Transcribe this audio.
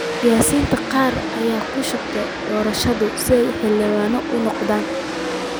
Siyaasiyiinta qaar ayaa ku shubtay doorashada si ay xildhibaano uga noqdaan.